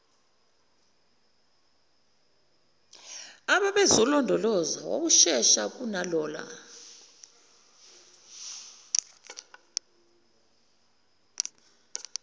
ababezolondoloza wawushesha kunalona